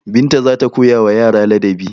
Binta za ta koyawa yara ladabi.